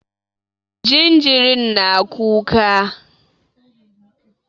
Jinjirin na kuka